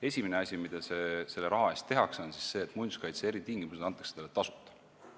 Esimene asi, mida selle raha eest tehakse, on see, et muinsuskaitse eritingimused antakse talle tasuta.